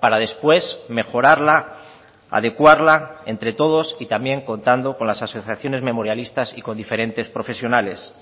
para después mejorarla adecuarla entre todos y también contando con las asociaciones memorialistas y con diferentes profesionales